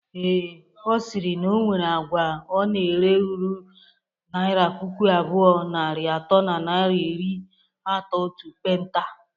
Ee, Ọ sịrị na onwere agwa ọ na-ere ruru naira puku abụọ, narị atọ na naira iri atọ otu penta